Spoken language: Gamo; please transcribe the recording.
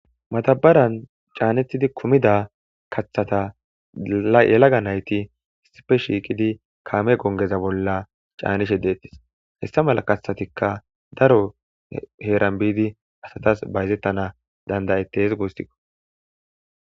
matabaran caanethidi kumida kathata yelaga nayti sipe shiiqidi kaame gongeza bolla caanishe deettis hessa mala katthatikka daro heeran biidi asatas bayzettana dandayetes goostikko